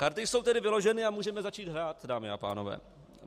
Karty jsou tedy vyloženy a můžeme začít hrát, dámy a pánové.